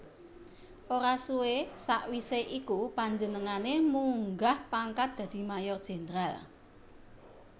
Ora suwé sawisé iku panjenengané munggah pangkat dadi Mayor Jenderal